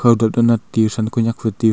anat tiyu kau than konyak fai tiyu.